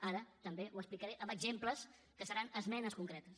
ara també ho explicaré amb exemples que seran esmenes concretes